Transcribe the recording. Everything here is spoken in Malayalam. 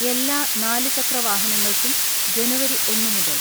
എല്ലാ നാലു ചക്രവാഹനങ്ങൾക്കും ജനുവരി ഒന്ന് മുതൽ